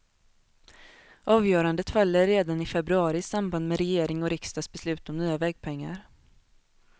Avgörandet faller redan i februari i samband med regering och riksdags beslut om nya vägpengar.